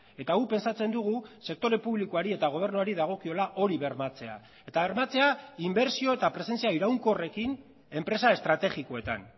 eta guk pentsatzen dugu sektore publikoari eta gobernuari dagokiola hori bermatzea eta bermatzea inbertsio eta presentzia iraunkorrekin enpresa estrategikoetan